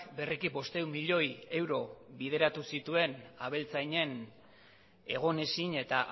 berriki bostehun milioi euro bideratu zituen abeltzainen egonezin eta